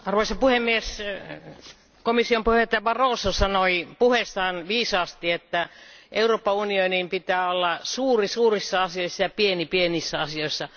Arvoisa puhemies, komission puheenjohtaja Barroso sanoi puheessaan viisaasti, että Euroopan unionin pitää olla suuri suurissa asioissa ja pieni pienissä asioissa.